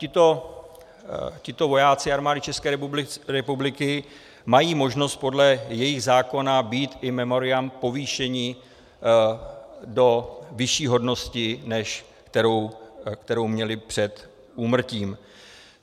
Tito vojáci Armády České republiky mají možnost podle jejich zákona být in memoriam povýšeni do vyšší hodnosti, než kterou měli před úmrtím.